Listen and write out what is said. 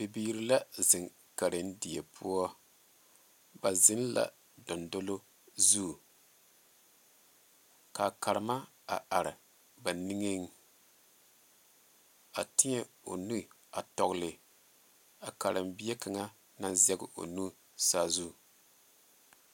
Bibiiri la ziŋ karendie poɔ ba ziŋ la dɔŋdolo zu kaa Karenma a are ba nigeŋ a teɛ o nu tɔgli a karenbie kaŋa naŋ zɛŋ o nu saazu.